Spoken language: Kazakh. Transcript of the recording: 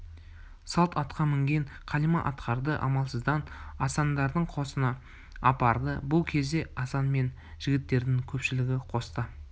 салт атқа мінген қалима ақтарды амалсыздан асандардың қосына апарды бұл кезде асан мен жігіттердің көпшілігі қоста